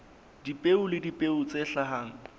dipeo le dipeo tse hlahang